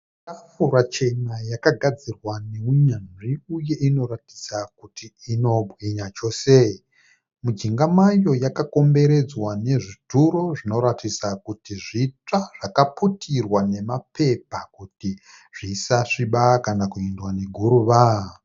Tafura chena yakagadzirwa nehunyanzvi uye inoratidza kuti inobwinya chose. Mujinga mayo yakakomboredzwa nezvituro zvinoratidza kuti zvitsva, zvakaputirwa nemapepa kuti zvisasviba kana kuendwa neguruva.